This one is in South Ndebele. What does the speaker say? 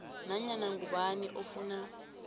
nanyana ngubani ofuna